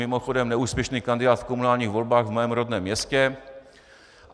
Mimochodem, neúspěšný kandidát v komunálních volbách v mém rodném městě.